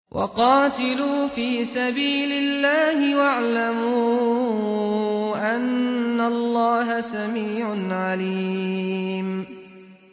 وَقَاتِلُوا فِي سَبِيلِ اللَّهِ وَاعْلَمُوا أَنَّ اللَّهَ سَمِيعٌ عَلِيمٌ